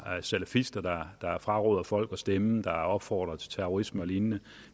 salafister der fraråder folk at stemme eller opfordrer til terrorisme og lignende